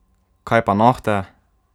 Kaj pa nohte?